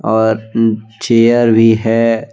और अह चेयर भी है।